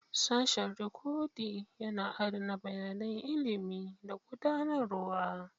Sashin Rikodi yana adana bayanan ilimi da gudanarwa.